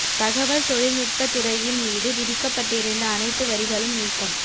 தகவல் தொழில் நுட்ப துறையின் மீது விதிக்கப்பட்டிருந்த அனைத்து வரிகளும் நீக்கம்